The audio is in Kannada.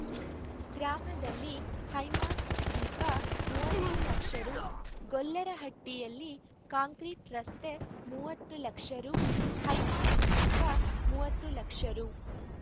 ಗ್ರಾಮದಲ್ಲಿ ಹೈಮಾಸ್ಟ್ ದೀಪ ಮೂವತ್ತು ಲಕ್ಷ ರೂ ಗೊಲ್ಲರಹಟ್ಟಿಯಲ್ಲಿ ಕಾಂಕ್ರೀಟ್ ರಸ್ತೆ ಮೂವತ್ತು ಲಕ್ಷ ರೂ ಹೈಮಾಸ್ಟ್ ದೀಪ ಮೂವತ್ತು ಲಕ್ಷ ರೂ